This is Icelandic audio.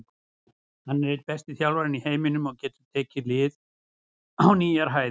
Hann er einn besti þjálfarinn í heiminum og getur tekið lið sín á nýjar hæðir.